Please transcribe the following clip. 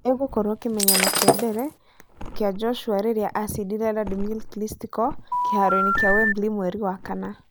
ĩgũkorwo kĩmenyano kĩa mbere kĩa Joshua rĩrĩa acindire Wladimir Klistchko kĩharoinĩ kĩa Wembley mweri wa Kana